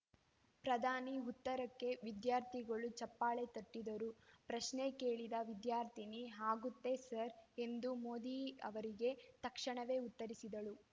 ಪ್ರಧಾನಿ ಉತ್ತರಕ್ಕೆ ವಿದ್ಯಾರ್ಥಿಗಳು ಚಪ್ಪಾಳೆ ತಟ್ಟಿದರು ಪ್ರಶ್ನೆ ಕೇಳಿದ ವಿದ್ಯಾರ್ಥಿನಿ ಆಗುತ್ತೇ ಸರ್ ಎಂದು ಮೋದಿಯವರಿಗೆ ತಕ್ಷಣವೇ ಉತ್ತರಿಸಿದಳು